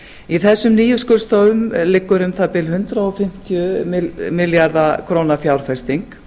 í þessum nýju skurðstofum liggur um það bil hundrað fimmtíu milljarða króna fjárfesting